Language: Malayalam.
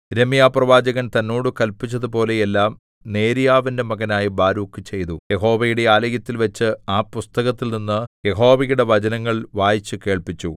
യിരെമ്യാപ്രവാചകൻ തന്നോട് കല്പിച്ചതുപോലെയെല്ലാം നേര്യാവിന്റെ മകനായ ബാരൂക്ക് ചെയ്തു യഹോവയുടെ ആലയത്തിൽവച്ച് ആ പുസ്തകത്തിൽനിന്ന് യഹോവയുടെ വചനങ്ങൾ വായിച്ചു കേൾപ്പിച്ചു